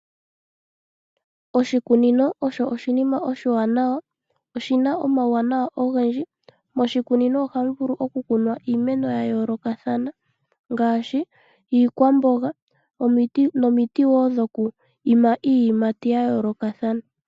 Oshikunino osho oshinima oshiwanawa, oshina omauwanawa ogendji. Moshikunino ohamu vulu okukunwa iimeno yayoolokathana ngaashi iikwamboga nomiti wo dhokwiima iiyimati yayoolokathana.